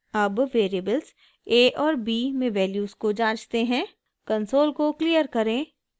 अब variables a और b में वैल्यूज़ को जाँचते हैं कंसोल को क्लियर करें